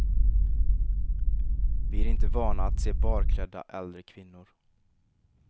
Vi är inte vana att se barklädda äldre kvinnor.